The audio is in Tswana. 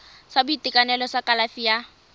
sa boitekanelo sa kalafi ya